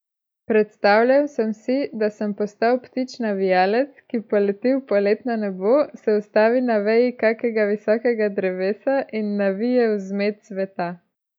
Predstavljal sem si, da sem postal ptič navijalec, ki poleti v poletno nebo, se ustavi na veji kakega visokega drevesa in navije vzmet sveta.